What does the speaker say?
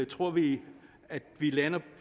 tror vi at vi lander